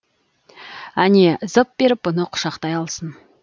әне зып беріп бұны құшақтай алсын